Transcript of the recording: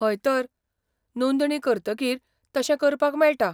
हय तर, नोंदणी करतकीर तशें करपाक मेळटा.